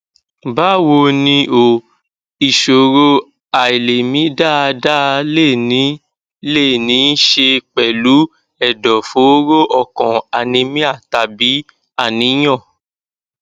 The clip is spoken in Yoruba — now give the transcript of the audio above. báwo ni o ìṣòro àìlèmí dáadáa lè ní lè ní í ṣe pẹlú ẹdọfóró ọkàn anemia tàbí àníyàn